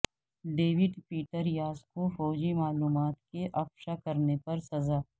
David Petraeus کو فوجی معلومات کے افشا کرنے پر سزا